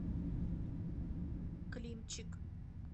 климчик